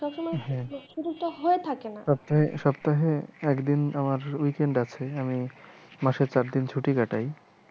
সপ্তাহে সপ্তাহে একদিন আমার weekend আছে আমি মাসে চার দিন ছুটি কাটায়।